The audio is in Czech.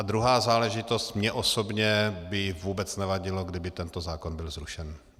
A druhá záležitost, mně osobně by vůbec nevadilo, kdyby tento zákon byl zrušen.